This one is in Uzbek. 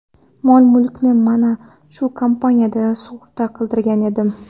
Mol-mulkimni mana shu kompaniyada sug‘urta qildirgan edim.